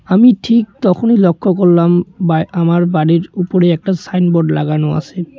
আমি ঠিক তখনই লক্ষ্য করলাম বা আমার বাড়ির উপরেই একটা সাইনবোর্ড লাগানো আছে।